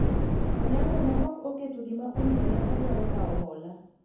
Onyango ne ok oketo gima omiyo ne odwaro kawo hola